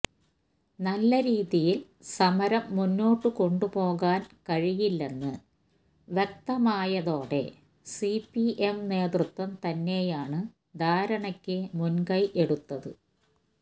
നല്ല രീതിയില് സമരം മുന്നോട്ടുകൊണ്ടുപോകാന് കഴിയില്ലെന്ന് വ്യക്തമായതോടെ സിപിഎം നേതൃത്വം തന്നെയാണ് ധാരണയ്ക്ക് മുന്കൈ എടുത്തത്